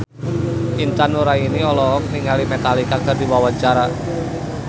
Intan Nuraini olohok ningali Metallica keur diwawancara